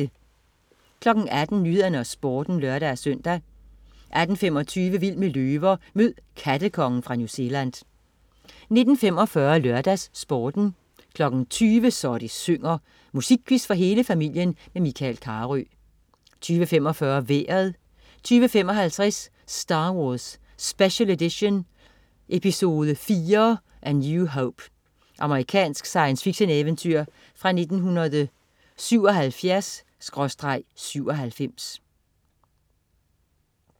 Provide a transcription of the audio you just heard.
18.00 Nyhederne og Sporten (lør-søn) 18.25 Vild med løver. Mød "kattekongen" fra New Zealand 19.45 LørdagsSporten 20.00 Så det synger. Musikquiz for hele familien med Michael Carøe 20.45 Vejret 20.55 Star Wars. Special Edition. Episode IV: A new hope. Amerikansk science fiction-eventyr fra 1977/1997